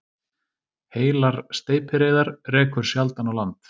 Heilar steypireyðar rekur sjaldan á land